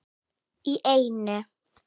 Í einu!